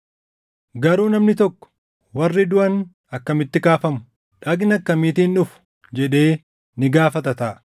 Garuu namni tokko, “Warri duʼan akkamitti kaafamu? Dhagna akkamiitiin dhufu?” jedhee ni gaafata taʼa.